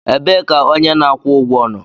Ebee ka onye na-akwụ ụgwọ nọ?